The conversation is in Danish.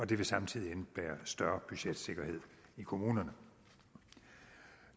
det vil samtidig indebære større budgetsikkerhed i kommunerne